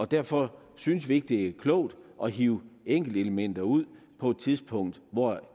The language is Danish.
derfor synes vi ikke det er klogt at hive enkeltelementer ud på et tidspunkt hvor